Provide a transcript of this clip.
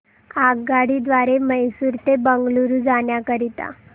आगगाडी द्वारे मैसूर ते बंगळुरू जाण्या करीता